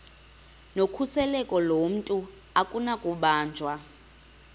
nokhuseleko lomntu akunakubanjwa